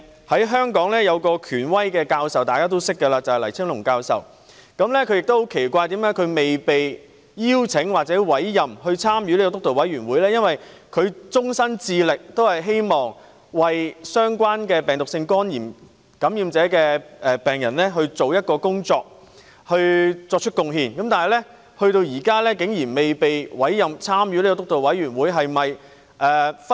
香港一位肝臟權威教授，大家都認識的黎青龍教授，他對於自己沒有被邀請或委任加入督導委員會感到奇怪，因為他一直致力於病毒性肝炎的相關工作，為此作出貢獻，但至今仍未被委任參與督導委員會。